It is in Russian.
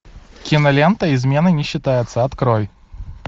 кинолента измены не считаются открой